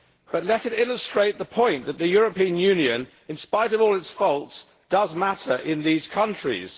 But let it illustrate the point that the European Union, in spite of all its faults, does matter in these countries.